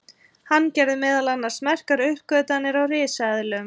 hann gerði meðal annars merkar uppgötvanir á risaeðlum